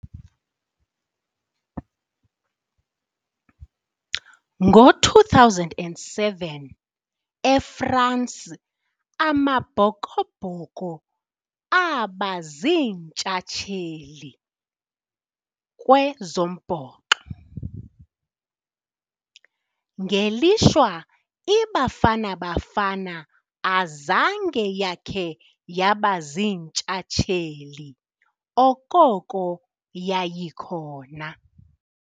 Ngo-two thousand and seven eFrance, Amabhokobhoko abaziintsatsheli kwezombhoxo, ngelishwa iBafana Bafana azange yakhe yabaziintshatsheli okoko yayikhona.